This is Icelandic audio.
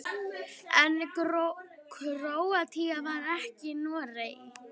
En Króatía vann ekki Noreg.